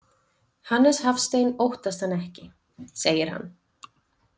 Hannes Hafstein óttast hann ekki, segir hann.